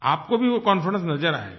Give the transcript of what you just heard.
आपको भी वो कॉन्फिडेंस नज़र आयेगा